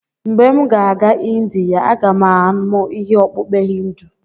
Mgbe m ga-aga Indiya, aga m amụ ime okpukpe Hindu.